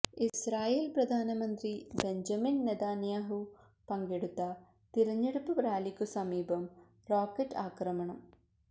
Israel പ്രധാനമന്ത്രി Benjamin Netanyahu പങ്കെടുത്ത തിരഞ്ഞെടുപ്പ് റാലിക്കു സമീപം റോക്കറ്റ് ആക്രമണം